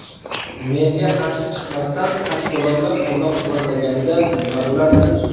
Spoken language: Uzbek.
Menga qarshi chiqmasdan, tashkilotlar qo‘llab-quvvatlaganida nima bo‘lardi?